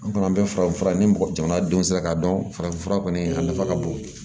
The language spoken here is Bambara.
An kɔni an bɛ farafinfura ni mɔgɔ jamana denw sera ka dɔn farafinfura kɔni a nafa ka bon